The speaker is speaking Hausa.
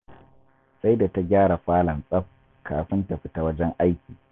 Sai da ta gyara falon tsaf, kafin ta fita wajen aiki